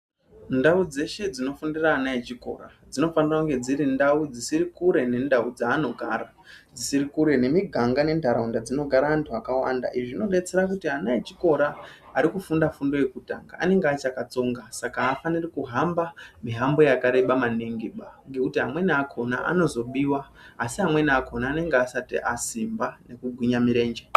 Ndau dzeshe dzinofundira ana echikora dzinofanira kunge dziri ndau dzisiri kure nendau dzanogara dzisiri kure nemiganga nentaraunda dzinogara antu akawanda izvi zvinodetsera kuti ana echikora arikufunda fundo yekutanga anenge achakatsonga Saka afaniri kuhamba mihambo yakarebà maningiba ngekuti amweni akhona anozobiwa asi amweni akhona anenge asati asimba nekugwinya mirenje